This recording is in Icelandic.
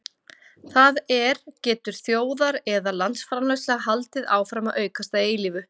það er getur þjóðar eða landsframleiðsla haldið áfram að aukast að eilífu